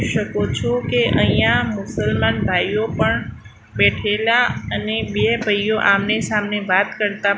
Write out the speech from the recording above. શકો છો કે અહીંયા મુસલમાન ભાઈઓ પણ બેઠેલા અને બે ભઈઓ આમને સામે વાત કરતા--